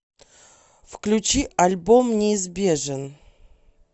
включи альбом неизбежен